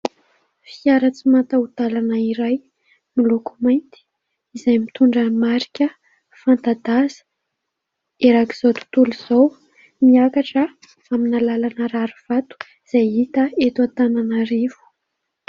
Fiara tsy mataho-dalana iray miloko mainty izay mitondra marika fanta-daza erak'izao tontolo izao, miakatra amina lalana rarivato izay hita eto Antananarivo.